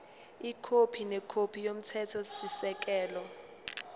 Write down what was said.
ikhophi nekhophi yomthethosisekelo